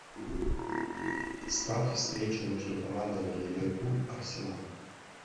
ставь встречу между командами ливерпуль арсенал